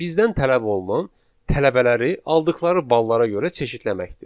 Bizdən tələb olunan tələbələri aldıqları ballara görə çeşidləməkdir.